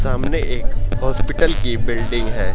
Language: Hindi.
सामने एक हॉस्पिटल की बिल्डिंग है।